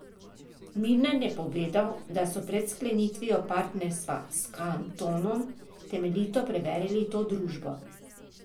Milner je povedal, da so pred sklenitvijo partnerstva s Kantonom temeljito preverili to družbo.